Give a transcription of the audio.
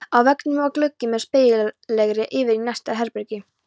Á veggnum var gluggi með spegilgleri yfir í næsta herbergi.